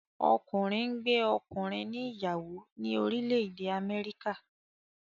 Ọkùnrin ngbé ọkùnrin ní ìyàwó ni orílè èdè Améríkà.